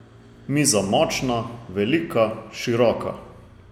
Miza močna, velika, široka.